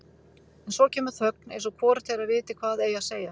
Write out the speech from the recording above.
En svo kemur þögn eins og hvorugt þeirra viti hvað eigi að segja.